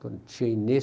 Tia Inês...